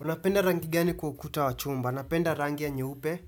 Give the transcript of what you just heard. Unapenda rangi gani kwa ukuta wa chumba? Napenda rangi ya nyupe.